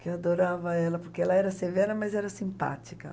Que eu adorava ela, porque ela era severa, mas era simpática.